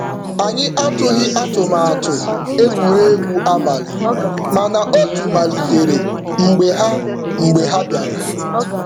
Anyị atụghị atụmatụ egwuregwu abalị, mana otu malitere mgbe ha mgbe ha bịara.